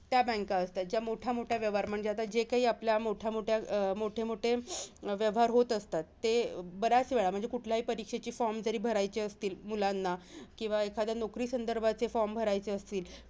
त्या banks असतात. जे मोठ्यामोठ्यां व्यवहार म्हणजे आता जे काही मोठ्यामोठ्यां अं मोठे मोठे व्यवहार होत असतात, ते बरेच वेळा म्हणजे कुठल्याही परीक्षेचे form जरी भरायचे असतील, मुलांना किंवा एखाद्या नोकरी संदर्भाचे banks भरायचे असतील,